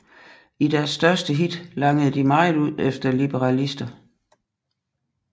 I deres største hit langede de meget ud efter liberalister